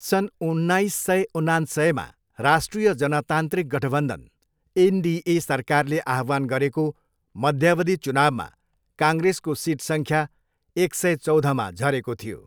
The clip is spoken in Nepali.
सन् उन्नाइस सय उनान्सयमा राष्ट्रिय जनतान्त्रिक गठबन्धन, एनडिए, सरकारले आह्वान गरेको मध्यावधि चुनाउमा काङ्ग्रेसको सिट सङ्ख्या एक सय चौधमा झरेको थियो।